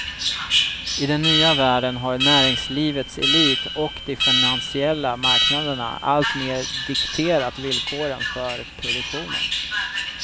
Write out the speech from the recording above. I den nya världen har näringslivets elit och de finansiella marknaderna alltmer dikterat villkoren för produktionen.